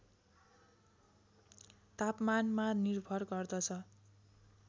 तापमानमा निर्भर गर्दछ